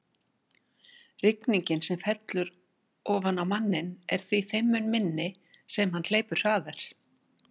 Rigningin sem fellur ofan á manninn er því þeim mun minni sem hann hleypur hraðar.